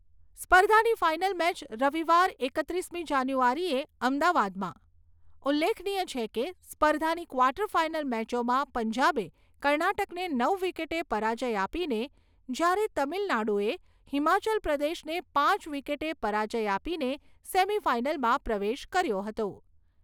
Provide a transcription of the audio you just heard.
સ્પર્ધાની final match રવિવાર એકત્રીસમી જાન્યુઆરીએ અમદાવાદમાં. ઉલ્લેખનીય છે કે, સ્પર્ધાની ક્વાર્ટર ફાઈનલ મેચોમાં પંજાબે કર્ણાટકને નવ વિકેટે પરાજય આપીને, જ્યારે તમિલનાડુએ હિમાચલ પ્રદેશને પાંચ વિકેટે પરાજ્ય આપીને સેમિફાઈનલમાં પ્રવેશ કર્યો હતો.